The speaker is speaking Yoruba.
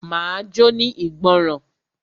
Máa jóní ìgbọràn.